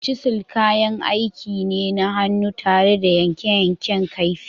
“Chisel” kayan aiki ne na hannu tare da yanke yankan kaifi.